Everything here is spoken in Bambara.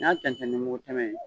N'i y'a tɛntɛn ni mugu tɛmɛ ye